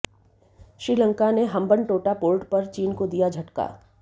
श्रीलंका ने हम्बनटोटा पोर्ट पर चीन को दिया झटका